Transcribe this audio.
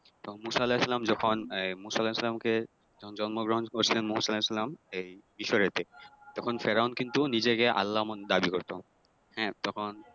তখন মুসা আলাহিসাল্লাম যখন মূসা আলাহিসাল্লামকে যখন জন্মগ্রহন করেছিলেন মূসা আলাহিসাল্লাম এই মিশরেতে তখন ফেরাউন কিন্তু নিজেকে আল্লাহ মান দাবী করতো হ্যাঁ তখন